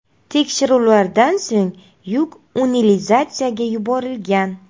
Tekshiruvlardan so‘ng yuk utilizatsiyaga yuborilgan.